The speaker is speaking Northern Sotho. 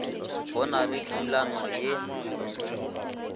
go na le thulano ye